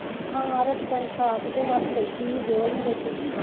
ਆਹੋ ਆਹੋ ਰੋਟੀ ਪਾਣੀ ਖਾ ਕੇ ਤੇ ਬਸ ਬੈਠੀ ਸੀ ਜੋਹਲ ਨੂ ਲੈ ਕੇ